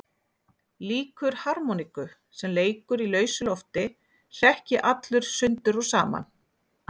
Líkur harmoníku sem leikur í lausu lofti hrekk ég allur sundur og saman.